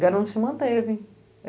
Garonze se manteve.